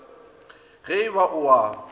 ge e ba o a